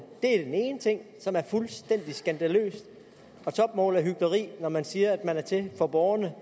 det er den ene ting som er fuldstændig skandaløs og topmålet af hykleri når man siger at man har tænkt på borgerne